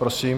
Prosím.